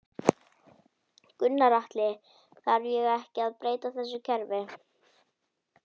Gunnar Atli: Þarf þá ekki að breyta þessu kerfi?